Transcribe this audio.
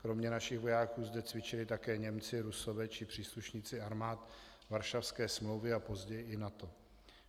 Kromě našich vojáků zde cvičili také Němci, Rusové či příslušníci armád Varšavské smlouvy a později i NATO.